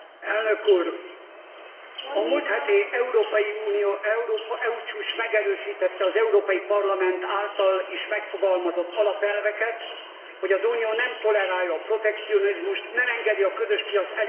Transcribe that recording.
A múlt heti EU csúcs megerősítette az Európai Parlament által is megfogalmazott azon alapelveket, hogy az Unió nem tolerálja a protekcionizmust, nem engedi a közös piac elért vívmányainak lebontását.